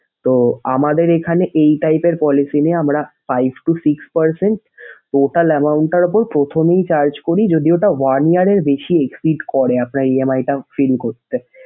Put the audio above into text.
তো আমাদের এখানে এই type এর policy নেই, আমরা five to six percent total amount টার উপর প্রথমেই charge করি যদি ওটা one year এর বেশি suite করে আপনার EMI টা fill করতে।